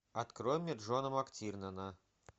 открой мне джона мактирнана